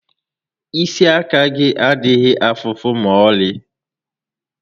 Isi àkà gị adịghị afụ ụfụ ma ọlị